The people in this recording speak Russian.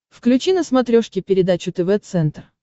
включи на смотрешке передачу тв центр